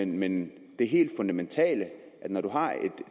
men det helt fundamentale er at når du har et